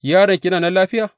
Yaronki yana nan lafiya?’